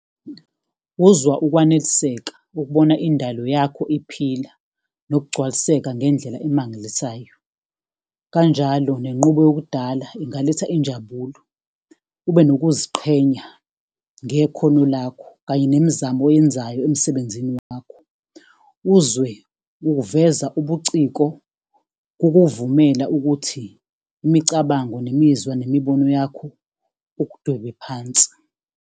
Uzwa ukwaneliseka, ukubona indalo yakho iphila, nokugcwaliseka ngendlela emangalisayo. Kanjalo, nenqubo yokudala ingaletha injabulo, ube nokuziqhenya ngekhono lakho kanye nemizamo oyenzayo emsebenzini wakho. Uzwe uveza ubuciko kukuvumela ukuthi imicabango nemizwa nemibono yakho ukudwebe phansi.